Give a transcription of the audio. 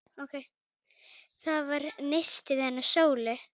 Það var nistið hennar Sólu.